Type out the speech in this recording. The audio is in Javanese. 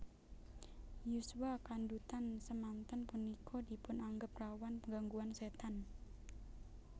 Yuswa kandhutan semanten punika dipun anggep rawan gangguan setan